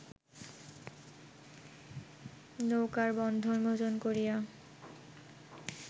নৌকার বন্ধন মোচন করিয়া